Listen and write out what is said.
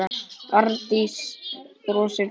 Arndís brosir veikt.